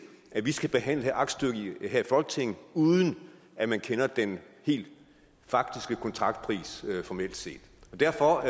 at vi skal behandle et aktstykke her i folketinget uden at man kender den helt faktiske kontraktpris formelt set derfor